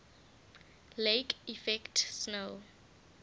lake effect snow